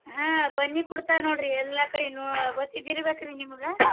ಹಾ ಬನ್ನಿ ಕೊಡ್ತಾರ್ ನೋಡ್ರಿ ಎಲ್ಲಾ ಕಡೆನೂ ಗೊತ್ತಿದಿರಬೇಕ್ರಿ ನಿಮಗ.